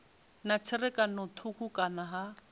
na tserakano thukhu kana ha